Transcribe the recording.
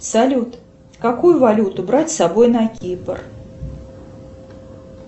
салют какую валюту брать с собой на кипр